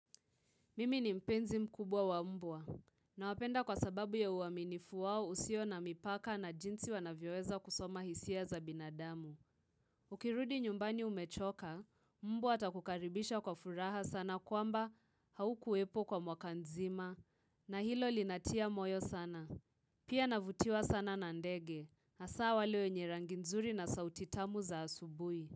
Mimi ni mpenzi mkubwa wa mbwa, nawapenda kwa sababu ya uaminifu wao usio na mipaka na jinsi wanavyoweza kusoma hisia za binadamu. Ukirudi nyumbani umechoka, mbwa atakukaribisha kwa furaha sana kwamba haukuwepo kwa mwaka nzima, na hilo linatia moyo sana. Pia navutiwa sana na ndege, hasa wale wenye rangi nzuri na sauti tamu za asubuhi.